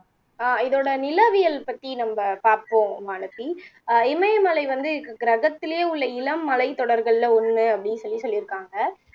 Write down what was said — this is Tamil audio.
அஹ் இதோட நிலவியல் பத்தி நம்ப பாப்போம் வானதி அஹ் இமயமலை வந்து கிரகத்திலேயே உள்ள இளம் மலைத்தொடர்கள்ல ஒன்னு அப்படி சொல்லி சொல்லிருக்காங்க